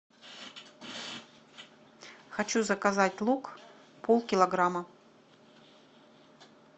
хочу заказать лук полкилограмма